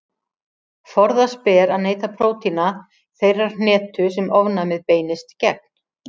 Forðast ber að neyta prótína þeirrar hnetu sem ofnæmið beinist gegn.